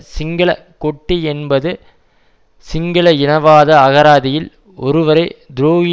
சிங்கள கொட்டி என்பது சிங்கள இனவாத அகராதியில் ஒருவரை துரோகி